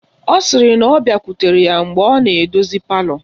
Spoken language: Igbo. Ọ sịrị na ọ bịakwutere ya mgbe ọ na-edozi palọ